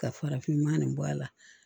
Ka farafinma nin bɔ a la